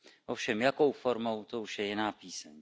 Ovšem jakou formou, to už je jiná píseň.